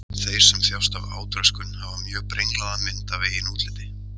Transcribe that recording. Þeir sem þjást af átröskun hafa mjög brenglaða mynd af eigin útliti.